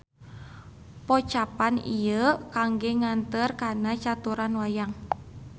Pocapan ieu kangge nganteur kana caturan wayang.